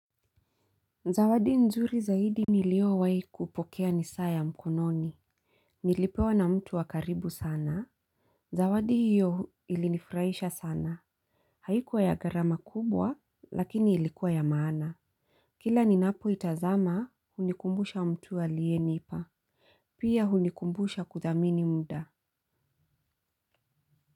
Zawadi nzuri zaidi ni liyo wahikupokea ni saa ya mkononi. Nilipewa na mtu wakaribu sana. Zawadi hiyo ilinifurahisha sana. Haikuwa ya gharama kubwa lakini ilikuwa ya maana. Kila ni napo itazama unikumbusha mtu alienipa. Pia hunikumbusha kuthamini muda.